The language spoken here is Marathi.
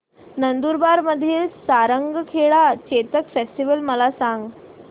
नंदुरबार मधील सारंगखेडा चेतक फेस्टीवल मला सांग